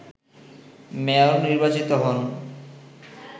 mayor নির্বাচিত হন